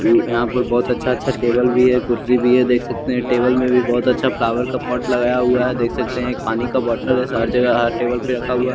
यहाँ पर बहुत अच्छा अच्छा टेबल भी है कुर्सी भी है देख सकते है टेबल में भी बहुत अच्छा फ्लावर का पॉट लगाया हुआ है देख सकते है पानी का बॉटल है हर जगह हर टेबल पे रखा हुआ।